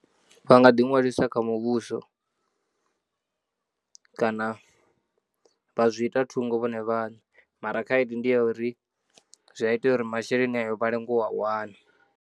Vha nga ḓi ṅwalisa kha muvhuso kana vha zwi ita thungo vhone vhaṋe mara khaedu ndi ya uri zwi a itea uri masheleni ayo vha lenge u a wana.